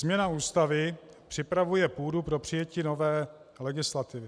Změna Ústavy připravuje půdu pro přijetí nové legislativy.